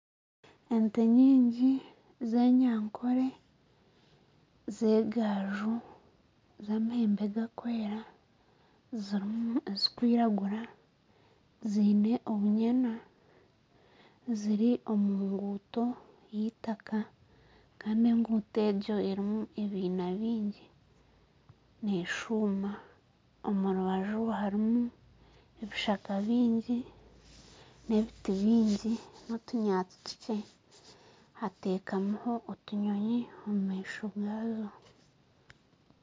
Ente nyingi z'enyankore zagaaju z'amahembe garikwera zirimu ezirikwiragura ziine obunyena ziri omu ruguuto rw'eitaka kandi oruguuto oru ruriimu ebiine bingi neeshuma kandi omu rubaju harimu ebishaka bingi n'ebiti bingi n'otunyatsi tukye hatekamiho otunyonyi omu maisho gaazo